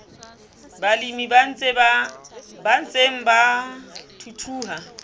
balemi ba ntseng ba thuthuha